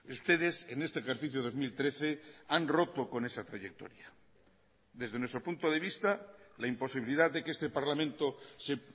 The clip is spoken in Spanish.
ustedes en este ejercicio dos mil trece han roto con esa trayectoria desde nuestro punto de vista la imposibilidad de que este parlamento se